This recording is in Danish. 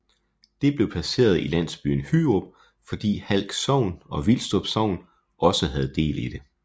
Det blev placeret i landsbyen Hyrup fordi Halk Sogn og Vilstrup Sogn også havde del i det